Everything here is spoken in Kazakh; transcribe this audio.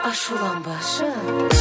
ашуланбашы